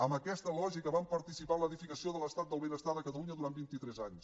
amb aquesta lògica vam participar en l’edificació de l’estat del benestar de catalunya durant vintitres anys